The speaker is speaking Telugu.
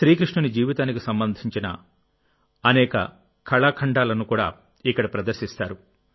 శ్రీకృష్ణుని జీవితానికి సంబంధించిన అనేక కళాఖండాలను కూడా ఇక్కడ ప్రదర్శిస్తారు